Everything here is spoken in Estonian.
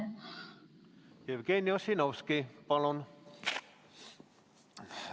Jevgeni Ossinovski, palun!